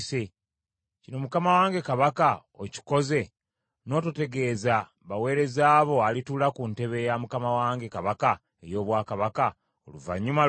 Kino mukama wange kabaka, okikoze n’ototegeeza baweereza bo alituula ku ntebe ya mukama wange kabaka ey’obwakabaka, oluvannyuma lwe?”